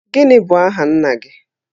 Gịnị bụ aha nna gị?